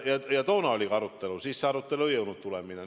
Toona oli ka arutelu, aga siis ei jõudnud see tulemini.